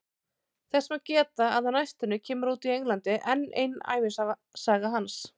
Þess má geta að á næstunni kemur út í Englandi enn ein ævisaga hans.